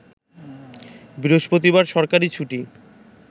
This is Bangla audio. বৃহস্পতিবার সরকারি ছুটি